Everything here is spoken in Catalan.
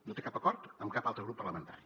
no té cap acord amb cap altre grup parlamentari